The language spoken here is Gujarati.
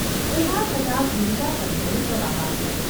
’ ઊભા થતાં ગિરિજાશંકરે જવાબ આપ્યો.